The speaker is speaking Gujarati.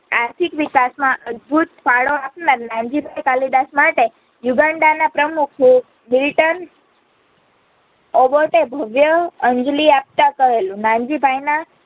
આર્થિક વિકાસમાં અદભૂત ફાડો આપી નાનજીભાઈ કાલિદાસમાટે યુગાંડાના પ્રમુખીએ મિલ્ટન અબોર્ટ એ ભવ્ય અંજલિ આપતા કહેલું